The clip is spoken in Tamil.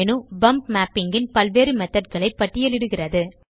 பம்ப் மேப்பிங் ன் பல்வேறு மெத்தோட் களை பட்டியலிடுகிறது